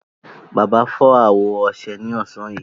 Bàbá fọ́ àwọ ọṣẹ ní ọ̀sán yìí.